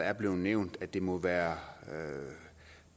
er blevet nævnt det må være